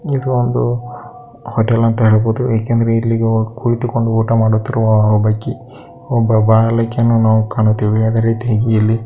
ಇದು ಒಂದು ಹೋಟೆಲ್ ಅಂತ ಹೇಳಬಹುದು ಏಕೆಂದ್ರೆ ಇಲ್ಲಿ ಒ ಕುಳಿತುಕೊಂಡು ಊಟ ಮಾಡುತ್ತಿರುವ ಒಬ್ಬಕಿ ಒಬ್ಬ ಬಾಲಕಿಯನ್ನು ನಾವು ಕಾಣುತ್ತೆವೆ ಅದೆ ರಿತಿಯಾಗಿ ಇಲ್ಲಿ --